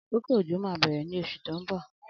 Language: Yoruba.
Akókó ójó mà bẹrẹ ni ọṣú tó n bọ